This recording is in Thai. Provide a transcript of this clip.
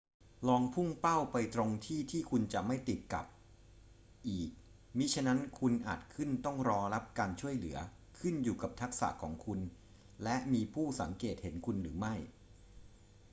ลองพุ่งเป้าไปตรงที่ที่คุณจะไม่ติดกับ อีกมิฉะนั้นคุณอาจขึ้นต้องรอรับการช่วยเหลือ ขึ้นอยู่กับทักษะของคุณและมีผู้สังเกตเห็นคุณหรือไม่